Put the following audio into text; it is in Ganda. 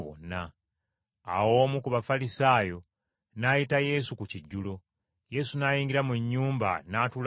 Awo omu ku Bafalisaayo n’ayita Yesu ku kijjulo, Yesu n’ayingira mu nnyumba, n’atuula ku mmeeza.